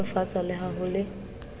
nolofatsa le ha ho le